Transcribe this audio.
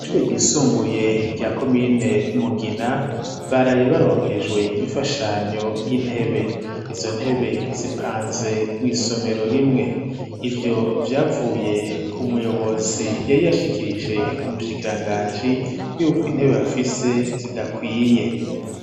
Kw'ishure ryisumbuye rya komine Mugina baraye baronkejwe imfashanyo y'intebe. Izo ntebe zipanze mw'isomero rimwe. Ivyo vyavuye ku muyobozi yari yashikirije umushikiranganji yuko intebe afise zidakwiye.